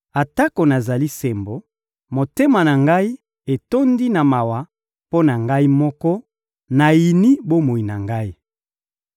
Atako nazali sembo, motema na ngai etondi na mawa mpo na ngai moko, nayini bomoi na ngai.